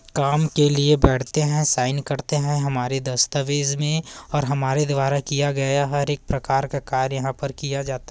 काम के लिए बैठते हैं साइन करते हैं हमारे दस्तावेज में और हमारे द्वारा किया गया हर एक प्रकार का कार्य यहाँ पर किया जाता--